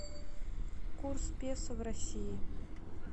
курс песо в россии